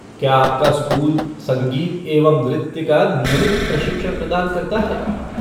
क्या आपका स्कूल संगीत एवं नृत्य का नियमित प्रशिक्षण प्रदान करता है?